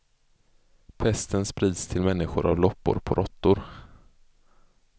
Pesten sprids till människor av loppor på råttor.